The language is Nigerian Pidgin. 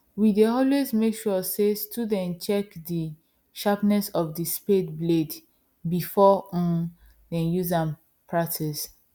we dey always make sure say student check the sharpness of the spade blade before um them use am practice